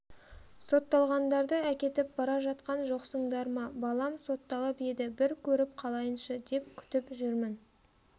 сотталғандарды әкетіп бара жатқан жоқсыңдар ма балам сотталып еді бір көріп қалайыншы деп күтіп жүрмін